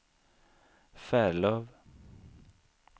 Färlöv